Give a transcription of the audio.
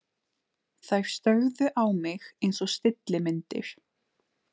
Þær störðu á mig einsog stillimyndir.